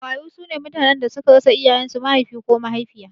Marayu sune mutanen da suka rasa iyayen su Mahaifi ko mahaifiya